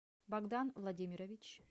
богдан владимирович